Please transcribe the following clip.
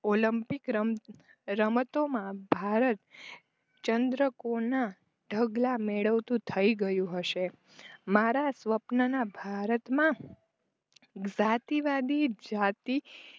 Olympic રમતોમાં ભારત ચંદ્રકુલના ઢગલા મેળવતું થઈ ગયું હશે. મારા સ્વપ્નના ભારતમાં જાતિવાદી જતી